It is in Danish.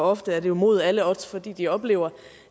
ofte er det jo mod alle odds fordi de oplever